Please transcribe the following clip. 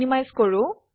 minimise কৰো